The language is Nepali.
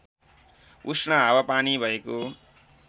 उष्ण हावापानी भएको